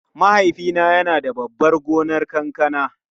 Mahaifina yana da babban gonar kankana.